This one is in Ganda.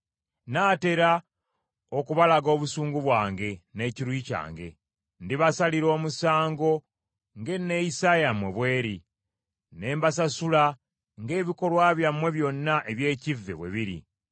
Nnaatera okubalaga obusungu bwange, n’ekiruyi kyange. Ndibasalira omusango ng’enneeyisa yammwe bw’eri, ne mbasasula ng’ebikolwa byammwe byonna eby’ekkive bwe biri.